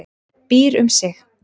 Býr um sig.